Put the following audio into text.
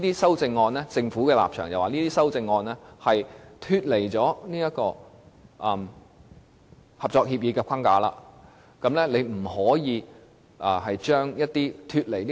按照政府的立場，這些修正案脫離合作協議的框架，因此不能如此修訂《條例草案》。